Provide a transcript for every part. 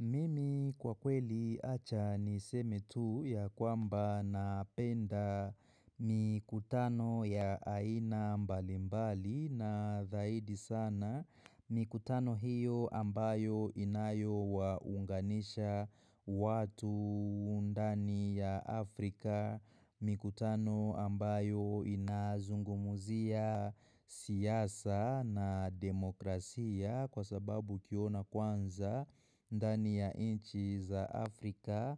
Mimi kwa kweli acha niseme tu ya kwamba napenda mikutano ya aina mbalimbali na dhaidi sana. Mikutano hiyo ambayo inayo waunganisha watu undani ya Afrika. Mikutano ambayo inazungumzia siyasa na demokrasia kwa sababu ukiona kwanza. Ndani ya inchi za Afrika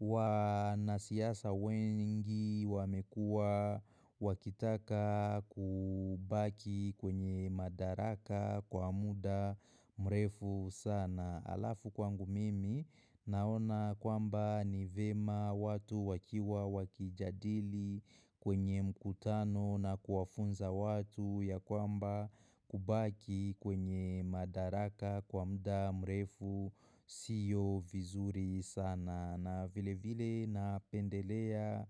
wanasiasa wengi wamekua wakitaka kubaki kwenye madaraka kwa muda mrefu sana. Na alafu kwangu mimi naona kwamba nivyema watu wakiwa wakijadili kwenye mkutano na kuafunza watu ya kwamba kubaki kwenye madaraka kwa muda mrefu siyo vizuri sana. Na vile vile napendelea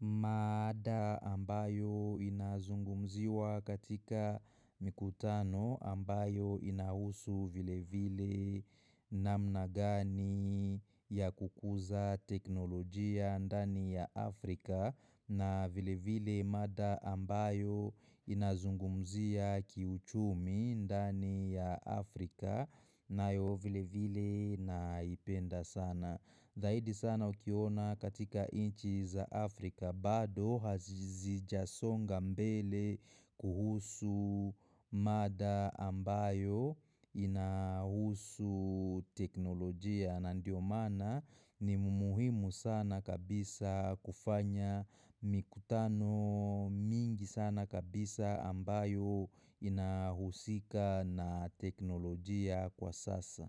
mada ambayo inazungumziwa katika mikutano ambayo inahusu vile vile namna gani ya kukuza teknolojia ndani ya Afrika na vile vile mada ambayo inazungumzia kiuchumi ndani ya Afrika nayo vile vile naipenda sana tahidi sana ukiona katika inchi za Afrika bado hazijasonga mbele kuhusu mada ambayo inahusu teknolojia na ndio maana ni muhimu sana kabisa kufanya mikutano mingi sana kabisa ambayo inahusika na teknolojia kwa sasa.